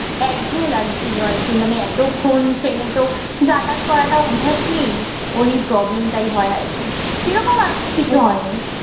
একঘেঁয়ে লাগছিল আরকি। মানে এতক্ষণ ট্রেনেতো যাতায়াত করাটা অভ্যাস নেই। ওই problem টাই হয় আরকি। সেই রকম আর কিছু হয়নি।